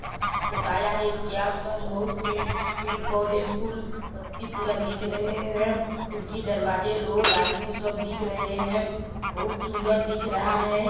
--पोताया है इसके आसपास बहुत पड़े पौध फूल पत्ती पूरा दिख रहे है खिड़की दरवाजे लोग आदमी सब दिख रहे हैं बहुत सूंदर दिखा रहा है।